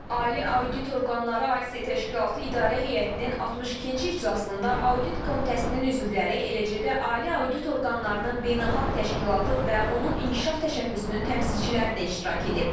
Ali audit orqanları AIS təşkilatı İdarə Heyətinin 62-ci iclasında audit komitəsinin üzvləri, eləcə də ali audit orqanlarının beynəlxalq təşkilatı və onun inkişaf təşəbbüsünün təmsilçiləri də iştirak edib.